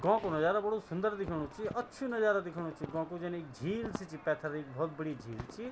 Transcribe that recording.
गौं कु नजारा बडू सुंदर देखेणु च अच्छू नजारा देखेणु च गौं कु जन ऐक झील सी च पेथर ऐक बहौत बडी झील च।